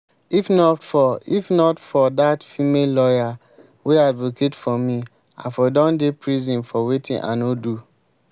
if not for if not for dat female lawyer wey advocate for me i for don dey prison for wetin i no do